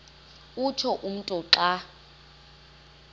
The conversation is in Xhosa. utsho umntu xa